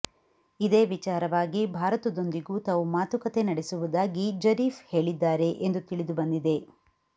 ಇದೇ ವಿಚಾರವಾಗಿ ಭಾರತದೊಂದಿಗೂ ತಾವು ಮಾತುಕತೆ ನಡೆಸುವುದಾಗಿ ಜರೀಫ್ ಹೇಳಿದ್ದಾರೆ ಎಂದು ತಿಳಿದು ಬಂದಿದೆ